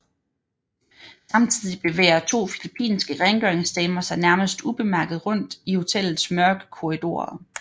Samtidig bevæger to filippinske rengøringsdamer sig nærmest ubemærket rundt i hotellets mørke korridorer